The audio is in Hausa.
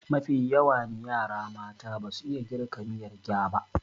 Mafi yawani yara mata basu iya girka miyar gyaba